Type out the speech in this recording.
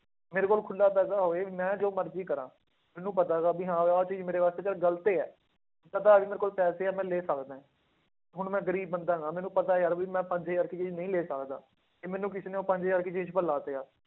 ਮੇਰੇ ਕੋਲ ਖੁੱਲਾ ਪੈਸਾ ਹੋਏ ਮੈਂ ਜੋ ਮਰਜ਼ੀ ਕਰਾਂ, ਮੈਨੂੰ ਪਤਾ ਗਾ ਵੀ ਹਾਂ ਆਹ ਚੀਜ਼ ਮੇਰੇ ਵਾਸਤੇ ਚੱਲ ਗ਼ਲਤ ਹੈ, ਪਤਾ ਵੀ ਮੇਰੇ ਕੋਲ ਪੈਸੇ ਹੈ ਮੈਂ ਲੈ ਸਕਦਾ ਹੈ, ਹੁਣ ਮੈਂ ਗ਼ਰੀਬ ਬੰਦਾ ਹੈਗਾ ਮੈਨੂੰ ਪਤਾ ਯਾਰ ਵੀ ਮੈਂ ਪੰਜ ਹਜ਼ਾਰ ਦੀ ਚੀਜ਼ ਨਹੀਂ ਲੈ ਸਕਦਾ, ਤੇ ਮੈਨੂੰ ਕਿਸੇ ਨੇ ਉਹ ਪੰਜ ਹਜ਼ਾਰ ਦੀ ਚੀਜ਼ ਪਰ ਲਾਤਿਆ,